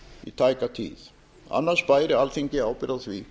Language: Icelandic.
í tæka tíð annars bæri alþingi ábyrgð á því